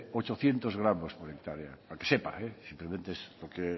ochocientos gramos por hectárea para que sepa simplemente